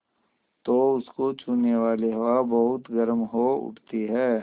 तो उसको छूने वाली हवा बहुत गर्म हो उठती है